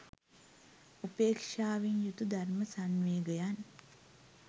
උපේක්ෂාවෙන් යුතු ධර්ම සංවේගයන්